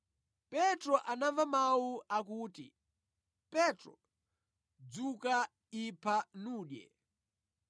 Petro anamva mawu akuti, “Petro, dzuka, ipha nudye.”